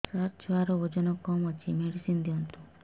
ସାର ଛୁଆର ଓଜନ କମ ଅଛି ମେଡିସିନ ଦିଅନ୍ତୁ